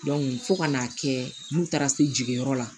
fo ka n'a kɛ n taara se jiginyɔrɔ la